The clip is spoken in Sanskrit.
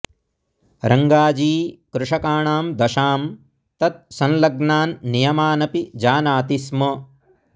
रङ्गाजी कृषकाणां दशां तत् संलग्नान् नियमानपि जानाति स्म